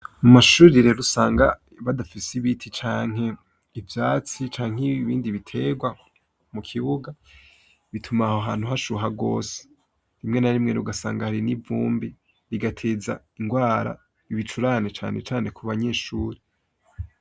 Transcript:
Mu mashuri rero usanga badafise ibiti canke ivyatsi canke ibindi biterwa mu kibuga, bituma aho hantu hashuha rwose. Rimwe na rimwe rero ugasanga hari n'ivumbi, rigateza indwara, ibicurane cane cane ku banyeshuri.